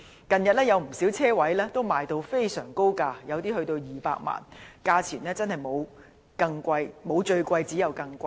近日，不少車位以非常高的價錢出售，有些更高達200萬元，價錢真的沒有最高，只有更高。